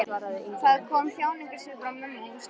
Það kom þjáningarsvipur á mömmu og hún stundi.